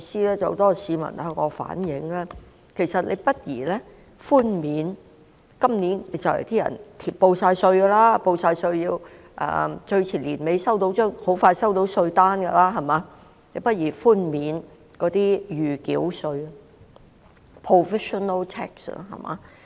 有很多市民向我反映，既然他們都已遞交今年的報稅表，最遲在年底時便會收到稅單，那麼，政府何不考慮寬免今年的暫繳稅呢？